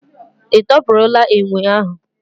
Ị tọpụrụla enwe ahu?